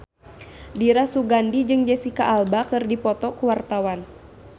Dira Sugandi jeung Jesicca Alba keur dipoto ku wartawan